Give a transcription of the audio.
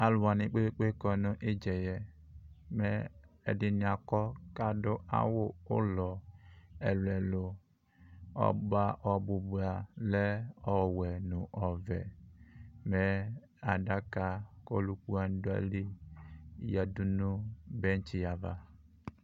alowani kpekpekpe kɔ nu idza yɛ mɛ ɛdi ni akɔ ko ado awu ulɔ ɛlò ɛlò ɔbò ba lɛ ɔwɛ no ɔvɛ mɛ adaka ko oluku wani do ayili yadu no bentsi ava